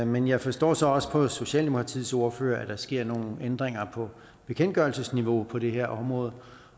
men jeg forstår så også på socialdemokratiets ordfører at der sker nogle ændringer på bekendtgørelsesniveau på det her område